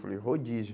Falei, rodízio.